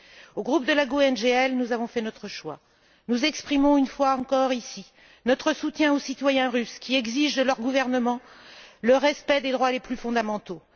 Au sein du groupe GUE NGL, nous avons fait notre choix. Nous exprimons une fois encore, ici, notre soutien aux citoyens russes qui exigent de leur gouvernement le respect des droits les plus fondamentaux.